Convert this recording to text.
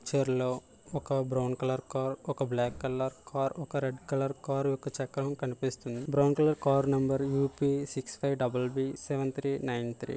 ఈ పిక్చర్ లో ఒక బ్రౌన్ కలర్ కార్ ఒక బ్లాక్ కలర్ కార్ ఒక రెడ్ కలర్ కార్ యొక్క చక్రం కనిపిస్తుంది. Brown colour car number U P six five double B seven three nine three .